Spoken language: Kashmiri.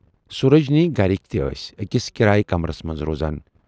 سوٗرجِنۍ گرِکۍ تہِ ٲسۍ ٲکِس کِرایہِ کمرس منز روزان۔